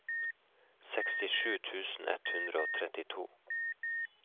sekstisju tusen ett hundre og trettito